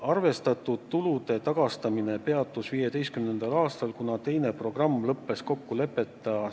Arvestatud tulude tagastamine peatus 2015. aastal, kuna teine programm lõppes kokkuleppeta.